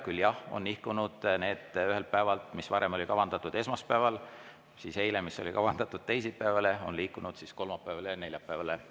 Küll, jah, on nihkunud ühelt päevalt teisele: see, mis varem oli kavandatud esmaspäevale ja teisipäevale, on liikunud kolmapäevale ja neljapäevale.